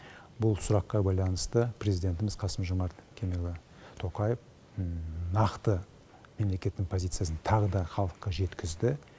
бұл сұраққа байланысты президентіміз қасым жомарт кемелұлы тоқаев нақты мемлекеттің позициясын тағы да халыққа жеткізді